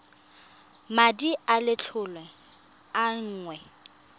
madi a letlole a ngwana